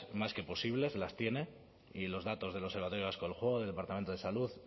más que posibles las tiene y los datos del observatorio vasco del juego del departamento de salud